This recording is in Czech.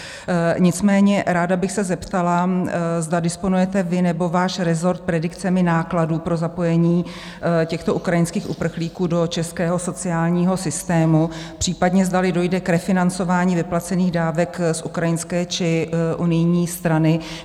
Nicméně ráda bych se zeptala, zda disponujete vy nebo váš rezort predikcemi nákladů pro zapojení těchto ukrajinských uprchlíků do českého sociálního systému, případně zdali dojde k refinancování vyplacených dávek z ukrajinské či unijní strany.